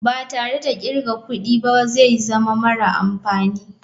Ba tare da kirga kudi ba zai zama mara amfani.